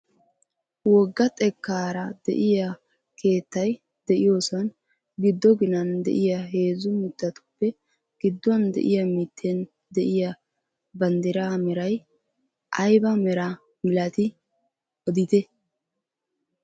Wogga xekkaara de'iyaa keettay de'iyoosan giddo ginan de'iyaa heezzu mittatuppe gidduwaan de'iyaa mitten de'iyaa banddiraa meray ayba meraa milatii odite?